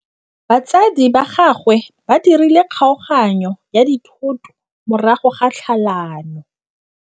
Batsadi ba gagwe ba dirile kgaoganyô ya dithoto morago ga tlhalanô.